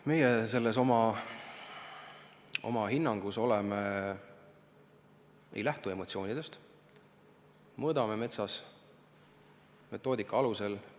Meie oma hinnangus ei lähtu emotsioonidest, me mõõdame metsa tunnustatud metoodika alusel.